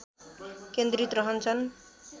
केन्द्रित रहन्छन्